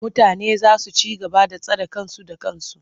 Mutane za su ci gaba da tsare kansu da kansu.